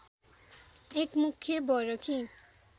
एक मुख्य बरखी